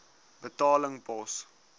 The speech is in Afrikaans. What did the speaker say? betaling pos